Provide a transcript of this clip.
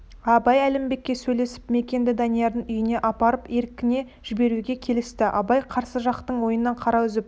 абай әлімбекке сөйлесіп мәкенді даниярдың үйіне апарып еркіне жіберуге келісті абай қарсы жақтың ойынан қара үзіп